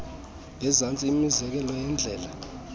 ngezantsi imizekelo yeendlela